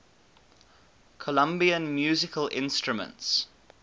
colombian musical instruments